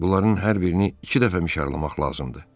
bunların hər birini iki dəfə mişarlamaq lazımdır.